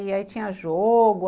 E aí tinha jogo.